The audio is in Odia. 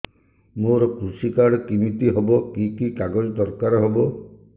ମୋର କୃଷି କାର୍ଡ କିମିତି ହବ କି କି କାଗଜ ଦରକାର ହବ